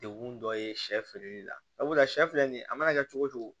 Degun dɔ ye sɛ feereli la sabula shɛ filɛ nin ye a mana kɛ cogo cogo